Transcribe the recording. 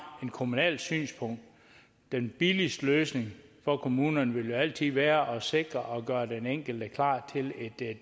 et kommunalt synspunkt vil den billigste løsning for kommunerne jo altid være at sikre at gøre den enkelte klar til et